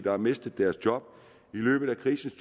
har mistet deres job i løbet af krisens